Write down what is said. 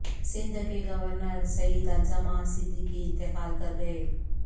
سندھ کے گورنر سیعد الزماں صدیقی انتقال کر گئے